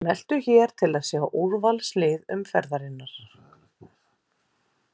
Smelltu hér til að sjá úrvalslið umferðarinnar